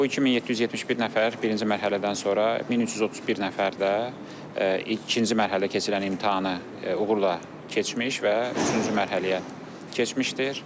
Bu 2771 nəfər birinci mərhələdən sonra 1331 nəfər də ikinci mərhələdə keçirilən imtahanı uğurla keçmiş və üçüncü mərhələyə keçmişdir.